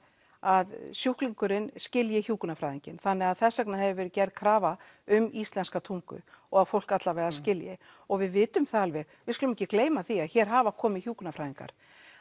að sjúklingurinn skilji hjúkrunarfræðinginn þannig að þess vegna hefur verið gerð krafa um íslenska tungu og að fólk allavega skilji og við vitum það alveg við skulum ekki gleyma því að hér hafa komið hjúkrunarfræðingar